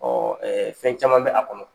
fɛn caman bɛ a kɔnɔ.